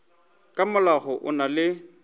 ka molao o na le